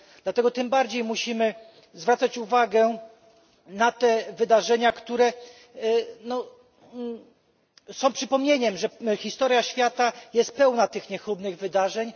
Dlatego tym bardziej musimy zwracać uwagę na te wydarzenia, które są przypomnieniem, że historia świata jest pełna tych niechlubnych wydarzeń.